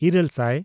ᱤᱨᱟᱹᱞᱼᱥᱟᱭ